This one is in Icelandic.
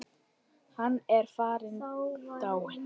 Hann er farinn, dáinn.